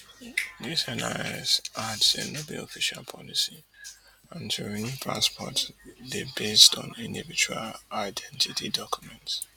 dis NIS add say no be official policy and to renew passport dey based on individual identity documents